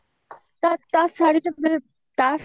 ତା ତା ତା ଶାଢ଼ୀ ତା ପୁଣି